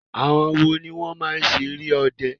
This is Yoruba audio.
Àwọn wo ló máa ń ṣeré ọde?